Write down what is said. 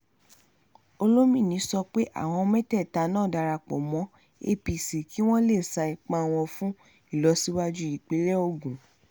olomini sọ pé àwọn mẹ́tẹ̀ẹ̀ta náà darapọ̀ mọ́ apc kí wọ́n lè sa ipá wọn fún ìlọsíwájú ìpínlẹ̀ ogun